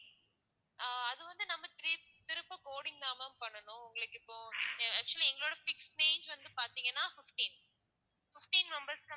ஆஹ் அது வந்து நம்ம திரும்ப coding தான் ma'am பண்ணனும் உங்களுக்கு இப்போ actually எங்களோட fix page வந்து பாத்தீங்கன்னா fifteen fifteen members க்கு